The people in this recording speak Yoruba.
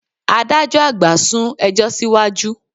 Adájọ́ àgbà sún ẹjọ́ síwájú